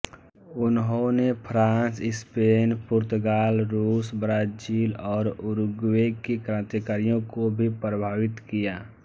इन्होने France Spain पुर्तगाल रूस ब्राजील और उरुग्वे के क्रान्तिकारियों को भी प्रभावित किया